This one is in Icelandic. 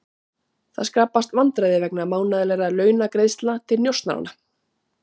Það skapast vandræði vegna mánaðarlegra launagreiðslna til njósnaranna.